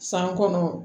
San kɔnɔ